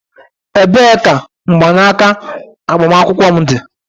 Ebee ka mgbanaka agbamakwụkwọ m dị?